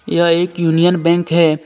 यह एक Union Bank हे.